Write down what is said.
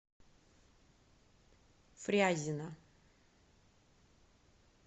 фрязино